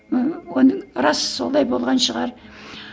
ііі оны рас солай болған шығар